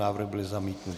Návrh byl zamítnut.